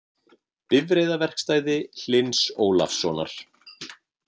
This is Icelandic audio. Bifreiðaverkstæði Hlyns Ólafssonar.